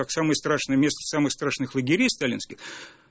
а самое страшное место самых страшных лагерей сталинских